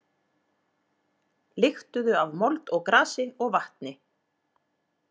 Lyktuðu af mold og grasi og vatni.